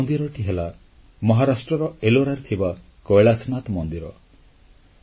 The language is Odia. ଆଉ ସେଇ ମନ୍ଦିରଟି ହେଲା ମହାରାଷ୍ଟ୍ରର ଏଲୋରାରେ ଥିବା କୈଳାସନାଥ ମନ୍ଦିର